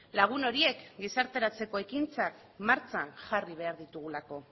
lagun horiek gizarteratzeko ekintzak martxan jarri behar ditugulako